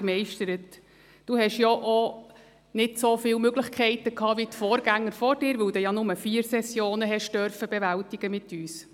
Sie hatten denn auch nicht so viele Möglichkeiten wie Ihre Vorgänger, weil Sie ja nur vier Sessionen mit uns bewältigen durften.